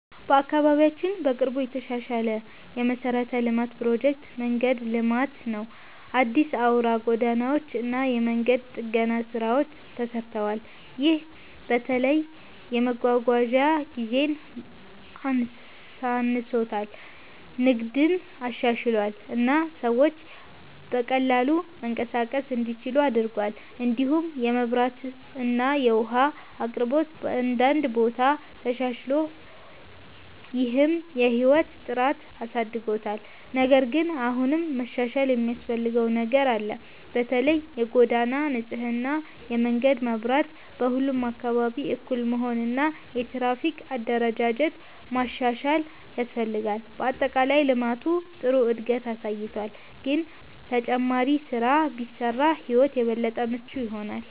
በአካባቢያችን በቅርቡ የተሻሻለ የመሠረተ ልማት ፕሮጀክት መንገድ ልማት ነው። አዲስ አውራ ጎዳናዎች እና የመንገድ ጥገና ስራዎች ተሰርተዋል። ይህ በተለይ የመጓጓዣ ጊዜን አሳንሶታል፣ ንግድን አሻሽሏል እና ሰዎች በቀላሉ መንቀሳቀስ እንዲችሉ አድርጓል። እንዲሁም የመብራት እና የውሃ አቅርቦት በአንዳንድ ቦታ ተሻሽሏል፣ ይህም የህይወት ጥራትን አሳድጎታል። ነገር ግን አሁንም መሻሻል የሚያስፈልገው ነገር አለ። በተለይ የጎዳና ንጽህና፣ የመንገድ መብራት በሁሉም አካባቢ እኩል መሆን እና የትራፊክ አደረጃጀት ማሻሻል ያስፈልጋል። በአጠቃላይ ልማቱ ጥሩ እድገት አሳይቷል፣ ግን ተጨማሪ ስራ ቢሰራ ሕይወት የበለጠ ምቹ ይሆናል።